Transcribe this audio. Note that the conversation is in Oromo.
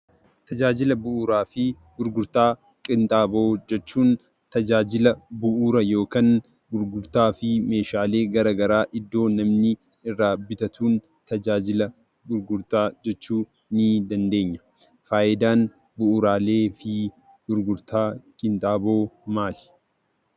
Tajaajila bu'uuraa fi gurgurtaa qinxaaboo jechuun tajaajila bu'uuraa yookaan gurgurtaa fi meeshaalee garaa garaa iddoo namni irraa bitatuun tajaajila gurgurtaa jechuu ni dandeenya. Faayidaan bu'uuraalee fi gurgurtaa qinxaaboo maali?